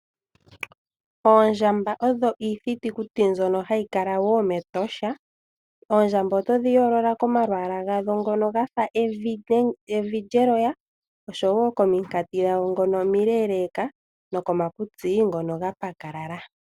Oondjamba odho iithitukuti mbyono hayi kala wo mEtosha. Oondjamba otodhi yoolola komalwaala gadho ngono ga fa evi lyeloya, osho wo kominkati dhago ndhono omileeleeka nokomakutsi ngono ga pakalala.